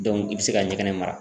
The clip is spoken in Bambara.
Dɔnku i be se ka ɲɛgɛnɛ mara